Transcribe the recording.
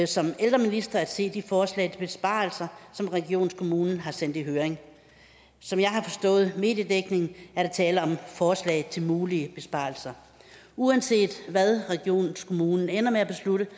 som ældreminister at se de forslag til besparelser som regionskommunen har sendt i høring som jeg har forstået det af mediedækningen er der tale om et forslag til mulige besparelser uanset hvad regionskommunen ender med at beslutte